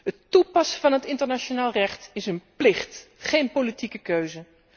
Het toepassen van het internationaal recht is een plicht, geen politieke keuze.